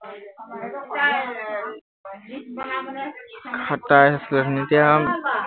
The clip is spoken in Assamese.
সাতাইশ এতিয়া